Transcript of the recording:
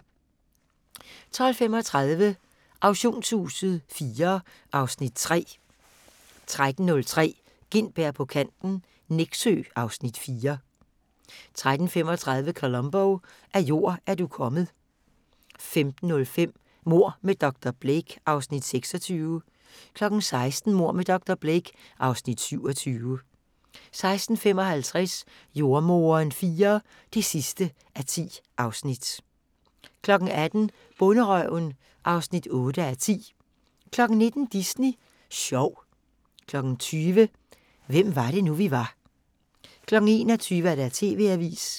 12:35: Auktionshuset IV (Afs. 3) 13:05: Gintberg på kanten - Nexø (Afs. 4) 13:35: Columbo: Af jord er du kommet 15:05: Mord med dr. Blake (Afs. 26) 16:00: Mord med dr. Blake (Afs. 27) 16:55: Jordemoderen IV (10:10) 18:00: Bonderøven (8:10) 19:00: Disney Sjov 20:00: Hvem var det nu, vi var 21:00: TV-avisen